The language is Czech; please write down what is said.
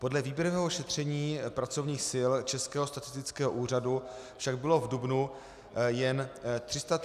Podle výběrového šetření pracovních sil Českého statistického úřadu však bylo v dubnu jen 339 000 nezaměstnaných.